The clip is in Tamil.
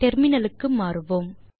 டெர்மினல் க்கு மாறுவோம்